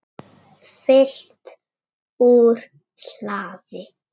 Fylgt úr hlaði